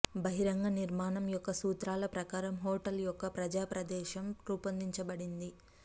బహిరంగ నిర్మాణం యొక్క సూత్రాల ప్రకారం హోటల్ యొక్క ప్రజా ప్రదేశం రూపొందించబడింది